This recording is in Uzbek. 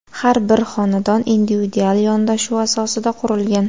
Har bir xonadon individual yondashuv asosida qurilgan.